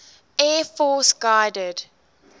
air force guided